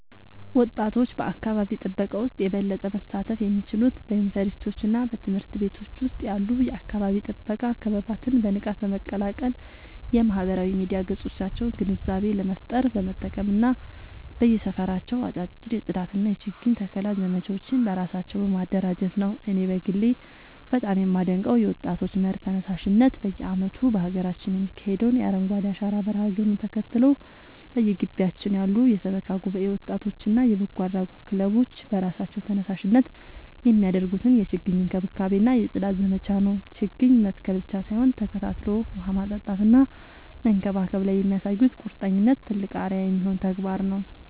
ወጣቶች በአካባቢ ጥበቃ ውስጥ የበለጠ መሳተፍ የሚችሉት በዩኒቨርሲቲዎችና በትምህርት ቤቶች ውስጥ ያሉ የአካባቢ ጥበቃ ክበባትን በንቃት በመቀላቀል፣ የማህበራዊ ሚዲያ ገጾቻቸውን ግንዛቤ ለመፍጠር በመጠቀም እና በየሰፈራቸው አጫጭር የጽዳትና የችግኝ ተከላ ዘመቻዎችን በራሳቸው በማደራጀት ነው። እኔ በግሌ በጣም የማደንቀው የወጣቶች መር ተነሳሽነት በየዓመቱ በሀገራችን የሚካሄደውን የአረንጓዴ አሻራ መርሃ ግብርን ተከትሎ፣ በየግቢያችን ያሉ የሰበካ ጉባኤ ወጣቶችና የበጎ አድራጎት ክለቦች በራሳቸው ተነሳሽነት የሚያደርጉትን የችግኝ እንክብካቤና የጽዳት ዘመቻ ነው። ችግኝ መትከል ብቻ ሳይሆን ተከታትሎ ውሃ ማጠጣትና መንከባከብ ላይ የሚያሳዩት ቁርጠኝነት ትልቅ አርአያ የሚሆን ተግባር ነው።